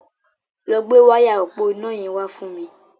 Lọ gbé wáyà òpó iná yẹn wá fún mi.